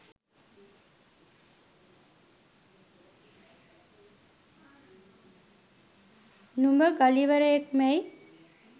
නුඹ ගලිවරයෙක්මැයි